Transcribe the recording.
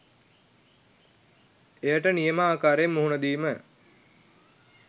එයට නියම ආකාරයෙන් මුහුණදීම